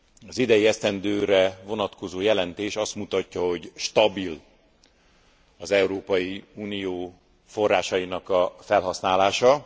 Az idei esztendőre vonatkozó jelentés azt mutatja, hogy stabil az Európai Unió forrásainak a felhasználása.